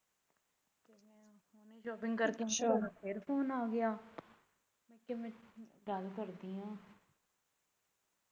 shopping ਕਰਕੇ ਫੇਰ ਤੁਹਾਡਾ ਫੋਨ ਆ ਗਿਆ ਤੇ ਮੈਂ ਕਿਹਾ ਗੱਲ ਕਰਦੀ ਆ